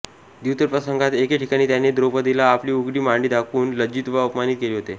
द्यूतप्रसंगात एके ठिकाणी त्याने द्रौपदीला आपली उघडी मांडी दाखवून लज्जित व अपमानित केले होते